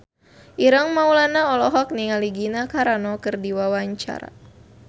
Ireng Maulana olohok ningali Gina Carano keur diwawancara